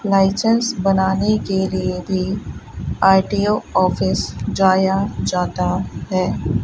Licence बनाने के लिए भी आर_टी_ओ ऑफिस जाया जाता है।